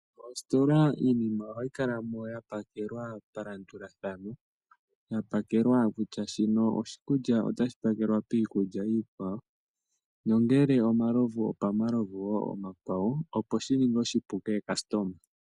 Moositola iinima ohayi kala yapakelwa palandulathano, yapakelwa kutya shino oshikulya otashi pakelwa pehala limwe palandulathano ngele omalovu ohaga pakelwa pomalovu omakwawo opo shikale oshipu kaalandi.